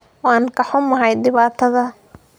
Waan ka xumahay dhibaatada?